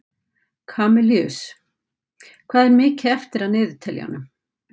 Kamilus, hvað er mikið eftir af niðurteljaranum?